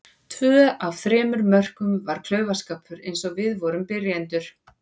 Tvö af þremur mörkum var klaufaskapur eins og við vorum byrjendur.